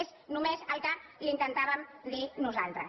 és només el que li intentàvem dir nosaltres